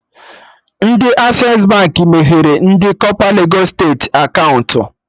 Ndị Access Baankị meghere ndị kọpa legos steeti akaụntụ